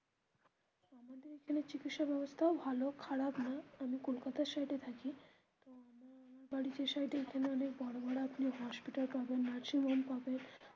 আমাদের এখানে চিকিৎসা ব্যবস্থাও ভালো খারাপ নয়, আমি কলকাতা side এ থাকি তো আমার বাড়ির side এ এখানে অনেক বড়ো বড়ো hospital পাবেন nursing home পাবেন.